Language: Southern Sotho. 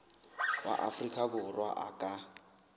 wa afrika borwa a ka